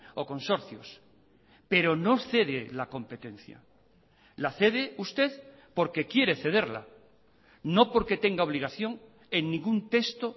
o consorcios pero no cede la competencia la cede usted porque quiere cederla no porque tenga obligación en ningún texto